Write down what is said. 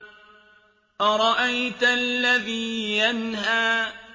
أَرَأَيْتَ الَّذِي يَنْهَىٰ